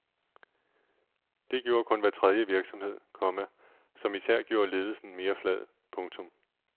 Det gjorde kun hver tredje virksomhed, komma som især gjorde ledelsen mere flad. punktum